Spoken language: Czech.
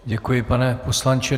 Děkuji, pane poslanče.